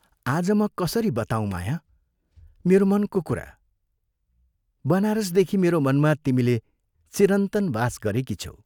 आज म कसरी बताऊँ माया, मेरो मनको कुरा बनारसदेखि मेरो मनमा तिमीले चिरन्तन वास गरेकी छ्यौ।